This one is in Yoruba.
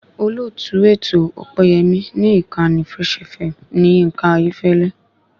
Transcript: Olóòtú ètò Ọpẹ́yẹmí ni ìkànnì fresh FM ni Yínká Ayéfẹ́lẹ́